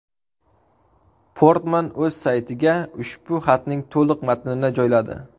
Portman o‘z saytiga ushbu xatning to‘liq matnini joyladi.